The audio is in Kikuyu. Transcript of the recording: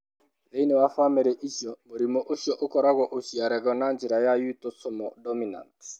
Thĩinĩ wa famĩlĩ icio, mũrimũ ũcio ũkoragwo ũciaragwo na njĩra ya autosomal dominant.